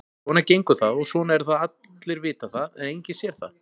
Svona gengur það og svona er það allir vita það en enginn sér það.